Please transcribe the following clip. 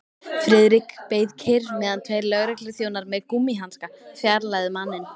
Friðrik beið kyrr meðan tveir lögregluþjónar með gúmmíhanska fjarlægðu manninn.